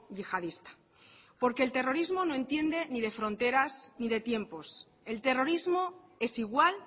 yihadista porque el terrorismo no entiende ni de fronteras ni de tiempos el terrorismo es igual